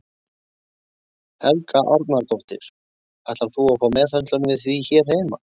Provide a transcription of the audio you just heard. Helga Arnardóttir: Ætlar þú að fá meðhöndlun við því hér heima?